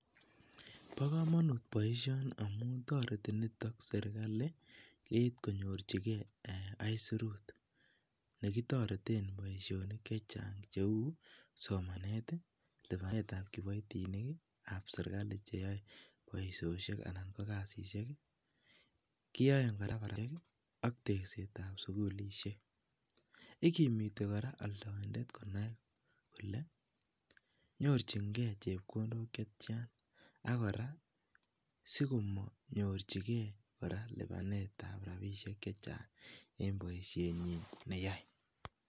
Bo komonut boishoni amun toreti niton serikali yeit konyorjigee aisurut nekitoreten boishonik chechang cheu somaneti lipanet ab kipoitinikii ab serikali cheyoe boishoshek anan kokasishek koyoen koraa koraa ak tekset ab sukulishek, ikimiti koraa oldoindet konai kole nyorchin gee chepkondok chetyan ak koraa sikomonyorchigee koraa lipanet ab rabishek chechang en boishenyin neyoe.